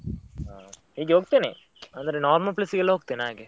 ಹ, ಹೀಗೆ ಹೋಗ್ತೇನೆ ಅಂದ್ರೆ normal place ಗೆಲ್ಲ ಹೋಗ್ತೇನೆ ಹಾಗೆ.